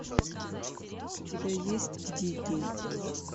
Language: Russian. у тебя есть дикий